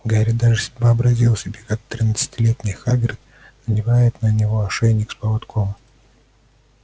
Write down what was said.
гарри даже вообразил себе как тринадцатилетний хагрид надевает на него ошейник с поводком